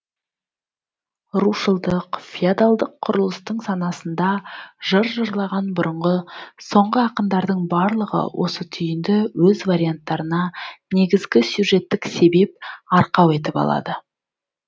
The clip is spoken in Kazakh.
рушылдық феодалдық құрылыстың санасында жыр жырлаған бұрынғы соңғы ақындардың барлығы осы түйінді өз варианттарына негізгі сюжеттік себеп арқау етіп алады